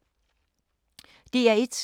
DR1